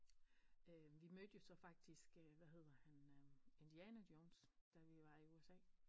Øh vi mødte jo så faktisk øh hvad hedder han øh Indiana Jones da vi var i USA